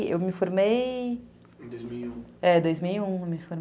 Já, eu me formei... em dois mil e um, é em dois mil e um